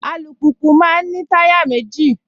Alùpùpù máa ń ní táyà méjì